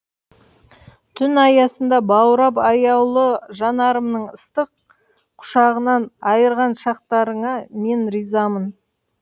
түн аясында баурап аяулы жанарымның ыстық құшағынан айырған шақтарыңа мен ризамын